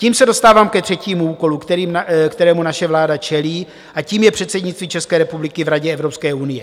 Tím se dostávám ke třetímu úkolu, kterému naše vláda čelí, a tím je předsednictví České republiky v Radě Evropské unie.